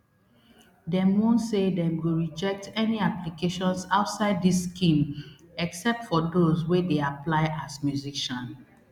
dem warn say dem go reject any applications outside dis scheme except for those wey dey apply as musician